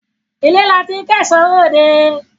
ilé la ti ń kẹ̀ṣọ́ ròde.